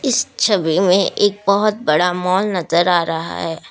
इस छवि में एक बहुत बड़ा मॉल नजर आ रहा है।